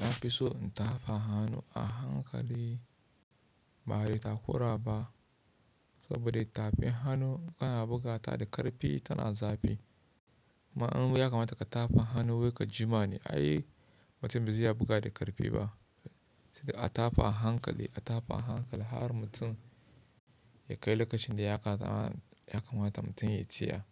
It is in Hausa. Na fi so in tafa hannu a hankali ba da takura ba saboda tafin hannu kana buga ta da ƙarfi tana zafi. Ma'anar ya kamata ka tafa hannu wai ka jima ne ai mutum ba zai iya buga da ƙarfi ba. Sai da a tafa a hankali, a tafa a hankali har mutum ya kai lokacin da ya kamata mutum ya yi ciyar.